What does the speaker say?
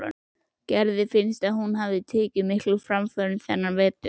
Gerði finnst hún hafa tekið miklum framförum þennan vetur.